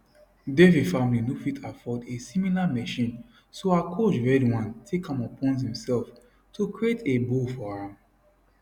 devi family no fit afford a similar machine so her coach vedwan take am upons imsef to create a bow for am